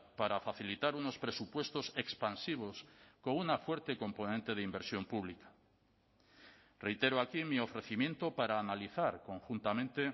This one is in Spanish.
para facilitar unos presupuestos expansivos con una fuerte componente de inversión pública reitero aquí mi ofrecimiento para analizar conjuntamente